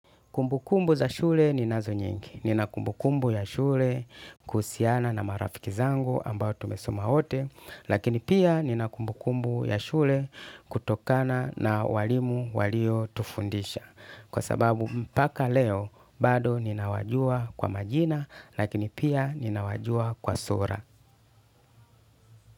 Kumbukumbu za shule ninazo nyingi. Nina kumbukumbu ya shule kuhusiana na marafiki zangu ambao tumesoma wote, lakini pia nina kumbukumbu ya shule kutokana na walimu walio tufundisha. Kwa sababu mpaka leo bado ninawajua kwa majina lakini pia ninawajua kwa sura.